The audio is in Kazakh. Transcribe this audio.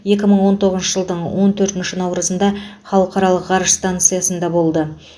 екі мың он тоғызыншы жылдың он төртінші наурызында халықаралық ғарыш станциясында болды